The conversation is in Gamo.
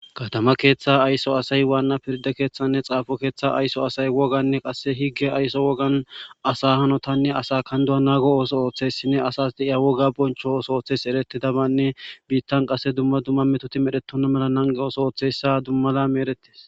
kadama keeththa aysso asay waanna pirda keeththanne xaafo keeththa aysso asay woganne qasse higge aysso wogan asa hanotanne asa kandu7a naago ooso ooththessinne asas de7iya woga boncho oso ooththes eretidabanne biittan qasse dumma dumma metoti medhetona mela nange oso ooththessa dummalami erettis